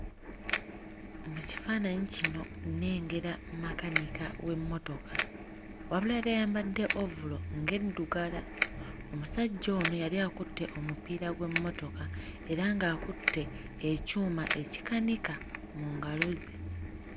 Mu kifaananyi kino nnengera makanika w'emmotoka wabula yali ayambadde ovulo ng'eddugala omusajja ono yali akutte omupiira gw'emmotoka era ng'akutte ekyuma ekikanika mu ngalo ze.